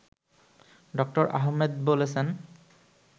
ড. আহমেদ বলছেন